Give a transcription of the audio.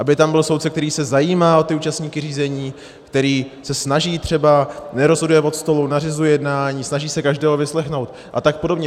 Aby tam byl soudce, který se zajímá o účastníky řízení, který se snaží třeba, nerozhoduje od stolu, nařizuje jednání, snaží se každého vyslechnout a tak podobně.